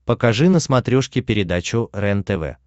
покажи на смотрешке передачу рентв